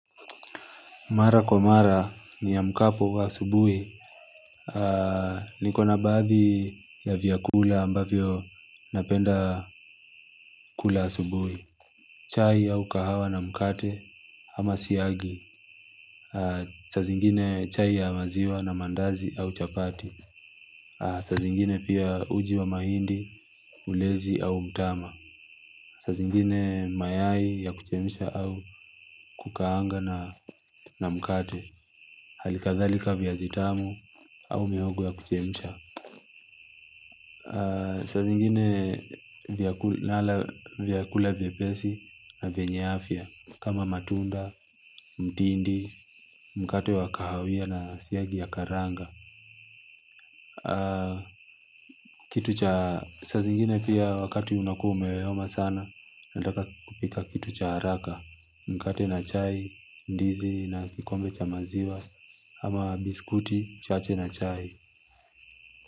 Mara kwa mara niamkapo asubuhi. Nikona baadhi ya vyakula ambavyo napenda kula asubuhi. Chai au kahawa na mkate ama siagi. Saa zingine chai ya maziwa na maandazi au chapati. Saa zingine pia uji wa mahindi, ulezi au mtama. Saa zingine mayai ya kuchemsha au kukaanga na mkate. Halikadhalika viazitamu au mihogo ya kuchemsha. Saa zingine nala vyakula vyepesi na vyenye afya kama matunda, mtindi, mkate wa kahawia na siagi ya karanga. Saa zingine pia wakati unakuwa umeyoyoma sana, nataka kupika kitu cha haraka. Mkate na chai, ndizi na kikombe cha maziwa. Ama biskuti chache na chai.